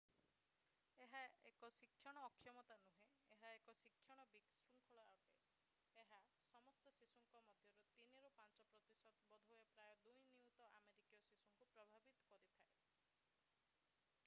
ଏହା ଏକ ଶିକ୍ଷଣ ଅକ୍ଷମତା ନୁହେଁ ଏହା ଏକ ଶିକ୍ଷଣ ବିଶୃଙ୍ଖଳା ଅଟେ ଏହା ସମସ୍ତ ଶିଶୁଙ୍କ ମଧ୍ୟରୁ 3 ରୁ 5 ପ୍ରତିଶତ ବୋଧହୁଏ ପ୍ରାୟ 2 ନିୟୁତ ଆମେରିକୀୟ ଶିଶୁଙ୍କୁ ପ୍ରଭାବିତ କରିଥାଏ